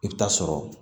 I bɛ taa sɔrɔ